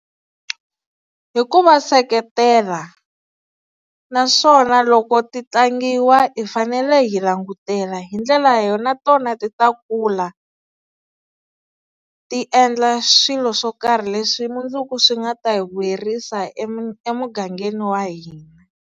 Hi ku va seketela, naswona loko ti tlangiwa hi fanele hi langutela hi ndlela yo na tona ti ta kula, ti endla swilo swo karhi leswi mundzuku swi nga ta hi vuyerisa emugangeni wa hina.